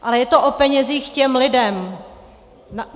Ale je to o penězích těm lidem.